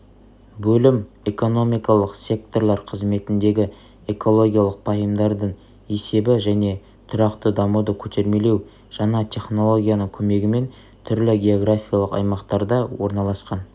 бөлім экономикалық секторлар қызметіндегі экологиялық пайымдардың есебі және тұрақты дамуды көтермелеу жаңа технологияның көмегімен түрлі географиялық аймақтарда орналасқан